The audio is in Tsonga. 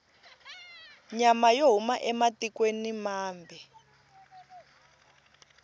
nyama yo huma ematikwena mambe